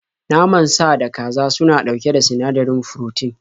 Naman sa da kaza suna ɗauke da sinadarin furotin